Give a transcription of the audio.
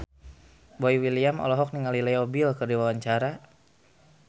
Boy William olohok ningali Leo Bill keur diwawancara